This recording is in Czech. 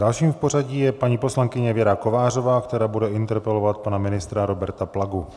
Dalším v pořadí je paní poslankyně Věra Kovářová, která bude interpelovat pana ministra Roberta Plagu.